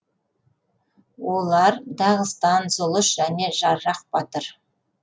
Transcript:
олар дағыстан зұлыс және жаррах батыр